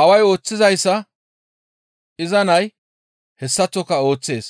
Aaway ooththizayssa iza nay hessaththoka ooththees.